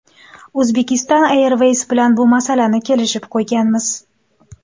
Uzbekistan Airways bilan bu masalani kelishib qo‘yganmiz.